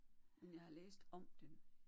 Men jeg har læst om den